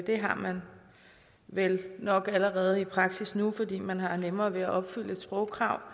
det har man vel nok allerede i praksis nu fordi man har nemmere ved at opfylde sprogkravet